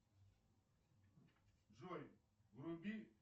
джой вруби